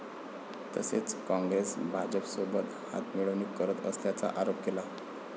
तसेच काँग्रेस भाजपसोबत हातमिळवणी करत असल्याचा आरोप केला.